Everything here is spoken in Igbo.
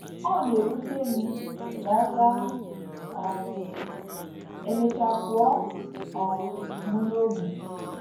Ọ na - ewute m, ma ọ ga um - emecha pụọ um m n’obi. ’